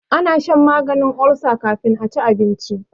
ana shan maganin ulsa kafin a ci abinci